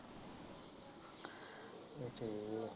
ਫੇਰ ਠੀਕ ਹੈ